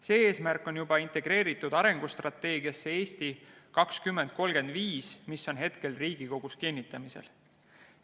See eesmärk on juba integreeritud arengustrateegiasse "Eesti 2035", mis on hetkel Riigikogus kinnitamisel.